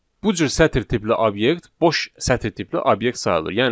Bu cür sətr tipli obyekt boş sətr tipli obyekt sayılır.